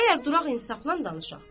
Əgər duraq insafla danışaq.